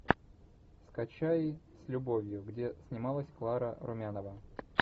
скачай с любовью где снималась клара румянова